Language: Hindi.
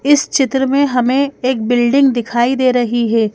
इस चित्र में हमें एक बिल्डिंग दिखाई दे रही है।